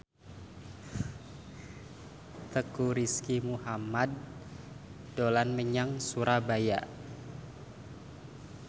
Teuku Rizky Muhammad dolan menyang Surabaya